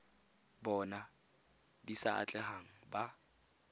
bona di sa atlegang ba